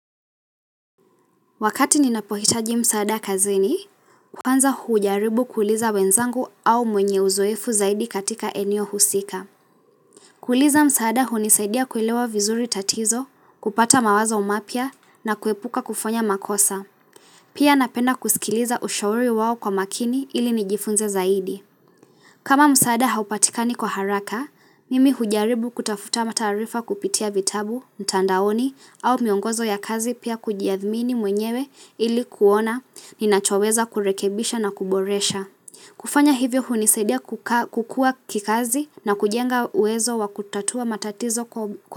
Wakati ninapohitaji mzaada kazini, kwanza hujaribu kuuliza wenzangu au mwenye uzoefu zaidi katika eneo husika. Kuuliza mzaada hunizaidia kuelewa vizuri tatizo, kupata mawazo mapya na kuepuka kufanya makosa. Pia napenda kusikiliza ushauri wao kwa makini ili nijifunze zaidi. Kama mzaada haupatika ni kwa haraka, mimi hujaribu kutafuta mataarifa kupitia vitabu, ntandaoni, au miongozo ya kazi pia kujiadhmini mwenyewe ili kuona ninachoweza kurekebisha na kuboresha. Kufanya hivyo hunizadia kukua kikazi na kujenga uwezo wa kutatua matatizo kwa.